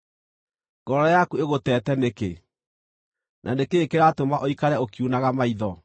Ngoro yaku ĩgũteete nĩkĩ, na nĩ kĩĩ kĩratũma ũikare ũkiunaga maitho,